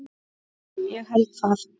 Ég held það.